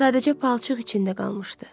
Sadəcə palçıq içində qalmışdı.